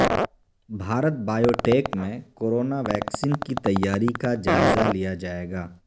Bharat biotech میں corona vaccine کی تیاری کا جائزہ لیا جائیگا